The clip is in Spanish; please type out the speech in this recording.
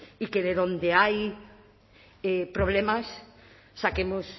y que de donde hay problemas saquemos